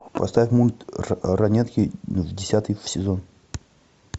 поставь мульт ранетки десятый сезон